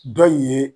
Dɔ in ye